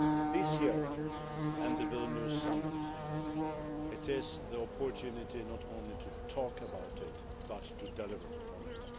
This year, at the Vilnius Summit, we have the opportunity not only to talk about it but to deliver on it.